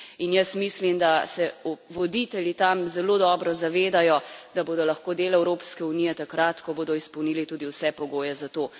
In jaz mislim, da se voditelji tam zelo dobro zavedajo, da bodo lahko del Evropske unije takrat, ko bodo izpolnili tudi vse pogoje za to.